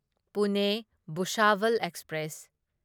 Pune Bhusawal express